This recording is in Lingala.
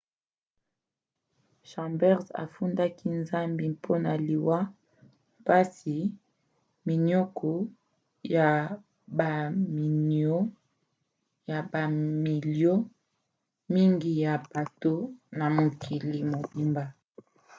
chambers afundaki nzambi mpona liwa mpasi minioko ya bamilio mingi ya bato na mokili mobimba.